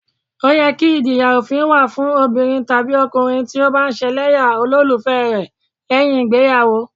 Ó yẹ kí ìjìyà òfin wà fún obìnrin tàbí ọkùnrin tí ó bá ń ṣẹlẹ́yà olólùfẹ́ rẹ lẹ́yìn ìgbéyàwó